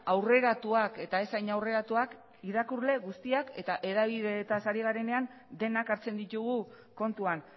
aurreratuak eta ez hain aurreratuak irakurle guztiak eta hedabideetaz ari garenean denak hartzen ditugu kontuan